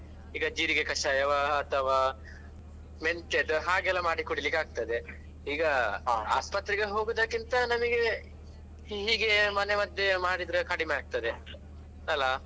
ಈಗ ಜೀರಿಗೆ ಕಷಾಯವ ಅಥವಾ ಮೆಂತೆದ್ದ ಹಾಗೆಲ್ಲ ಮಾಡಿ ಕುಡಿಲಿಕ್ಕೆ ಆಗ್ತದೆ ಈಗ ಆಸ್ಪತ್ರೆಗೆ ಹೋಗುದಕ್ಕಿಂತ ನಮಿಗೆ ಹೀಗೆಯೇ ಮನೆ ಮದ್ದೇ ಮಾಡಿದ್ರೆ ಕಡಿಮೆ ಆಗ್ತದೆ ಅಲ್ಲಾ.